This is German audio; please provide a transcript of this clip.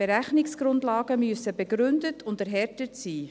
Berechnungsgrundlagen müssen begründet und erhärtet sein.